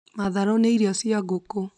Matharũ nĩ irio cia ngũkũ